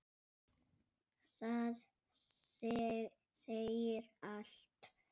Það segir allt.